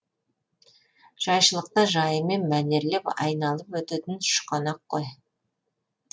жайшылықта жайымен мәнерлеп айналып өтетін шұқанақ қой